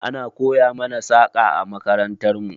Ana koya mana saƙa a makarantar mu.